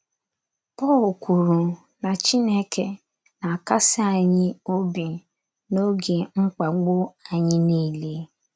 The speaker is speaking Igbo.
Pọl kwuru na Chineke na - akasi anyị obi n'oge mkpagbu anyị niile. ”